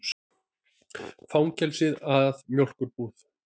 Fangelsið að mjólkurbúð.